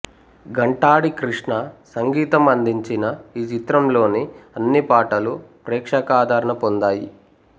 ఘంటాడి కృష్ణ సంగీతం అందించిన ఈ చిత్రంలోని అన్ని పాటలు ప్రేక్షకాదరణ పొందాయి